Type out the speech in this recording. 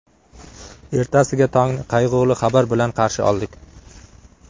Ertasiga tongni qayg‘uli xabar bilan qarshi oldik.